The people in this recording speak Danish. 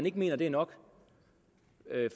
ikke mener det er nok